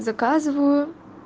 заказываю